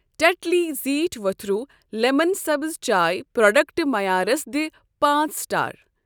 ٹٮ۪ٹلی زیٹھ ؤتھروٗ لٮ۪من سبٕز چاے پروڈیکٹہٕ معیارَس دِ پانٛژ سٹار۔